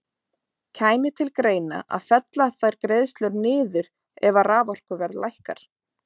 Kæmi til greina að fella þær greiðslur niður ef að raforkuverð lækkar?